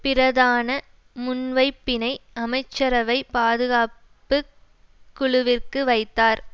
பிரதான முன்வைப்பினை அமைச்சரவை பாதுகாப்பு குழுவிற்கு வைத்தார்